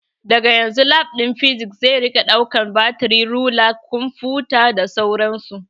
Daga yanzu Lab ɗin Physics zai rika ɗaukan batiri, rula, kumfuta da dai sauran su